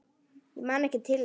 Ég man ekki til þess.